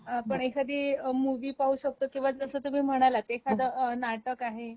आपण एखादी मुव्ही पाहू शकतो किंवा जसं तुम्ही म्हणालात एखाद नाटक आहे...